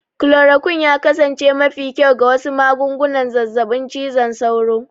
Chloroquine ya kasance mafi kyau ga wasu magungunan zazzabin cizon sauro.